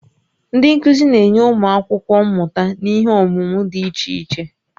Ndị nkuzi na-enye ụmụ akwụkwọ mmụta n'ihe ọmụmụ dị iche iche